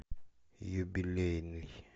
юбилейный